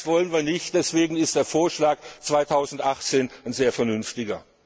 führen. Das wollen wir nicht, deswegen ist der Vorschlag 2018 sehr vernünftig.